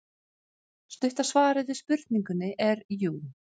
Stutta svarið við spurningunni er jú.